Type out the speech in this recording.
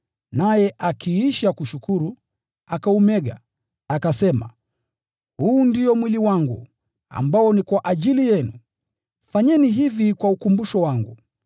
naye akiisha kushukuru, akaumega, akasema, “Huu ndio mwili wangu, uliotolewa kwa ajili yenu. Fanyeni hivi kwa ukumbusho wangu.”